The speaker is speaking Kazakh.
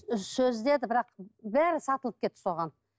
сөз деді бірақ бәрі сатылып кетті соған